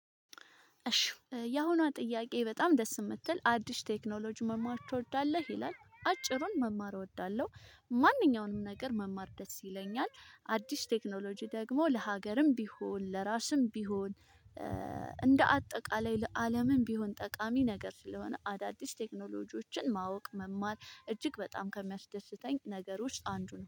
እሺ ያሁኗን ጥያቄ በጣም ደስ የምትል አዲስ ቴክኖሎጂ መማር ትወዳለህ? ይላል አጭሩን መማር እወዳለሁ። ማንኛውንም ነገር መማር ደስ ይለኛል አዲስ ቴክኖሎጂ ደግሞ ለሀገርም ቢሆን ለራስም ቢሆን እንደ አጠቃላይ ለአለምም ቢሆን ጠቃሚ ነገር ስለሆነ አዳዲስ ቴክኖሎጂዎችን ማወቅ መማር እጅግ በጣም ከሚያስደስተኝ ነገር ውስጥ አንዱ ነው።